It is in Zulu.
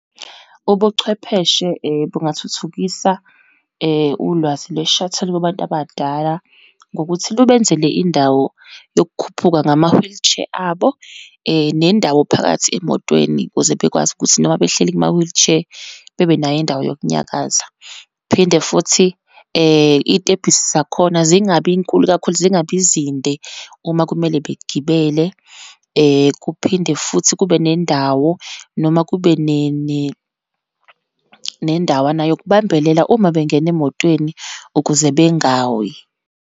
Ubuchwepheshe bungathuthukisa ulwazi lwe-shuttle kubantu abadala, ngokuthi lubenzele indawo yokukhuphuka ngama-wheelchair abo, nendawo phakathi emotweni ukuze bekwazi ukuthi noma behleli kuma-wheelchair, bebenayo indawo yokunyakaza. Phinde futhi iy'tebhisi zakhona zingabinkulu kakhulu, zingabi zinde uma kumele begibele. Kuphinde futhi kube nendawo, noma kube nendawana yokubambelela uma bengena emotweni ukuze bengawi.